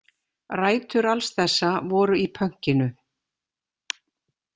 Rætur alls þessa voru í pönkinu.